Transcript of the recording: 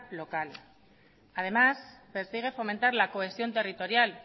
local además persigue fomentar la cohesión territorial